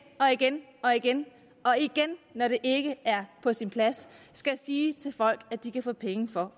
og igen og igen når det ikke er på sin plads skal sige til folk at de kan få penge for